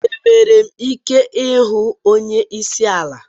Enwere m ike ịhụ onye isi ala?